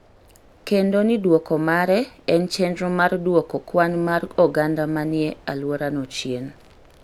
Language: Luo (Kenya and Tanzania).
kendo ni dwoko mare en chenro mar duoko kwan mar oganda ma ni e alworano chien.